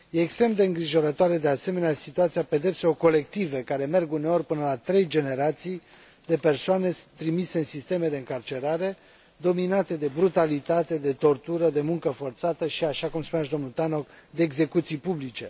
E extrem de îngrijorătoare, de asemenea, situația pedepselor colective, care merg uneori până la trei generații de persoane trimise în sisteme de încarcerare dominate de brutalitate, de tortură, de muncă forțată și, așa cum spunea și domnul Tannock, de execuții publice.